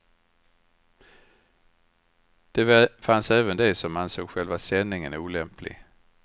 Det fanns även de som ansåg själva sändningen olämplig.